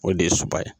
O de ye suba ye